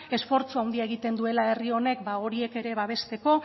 esfortzu handia egiten duela herri honek horiek ere babesteko